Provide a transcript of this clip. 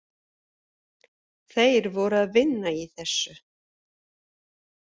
Þeir voru að vinna í þessu.